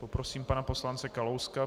Poprosím pana poslance Kalouska.